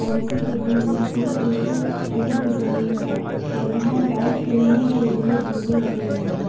और इसी के बीच में से एक गली गुजर रही है और यहां पर खेलने के लिए झूले लगे हुए हैं।